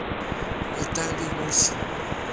виталий мусин